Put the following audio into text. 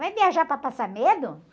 Vai viajar para passar medo?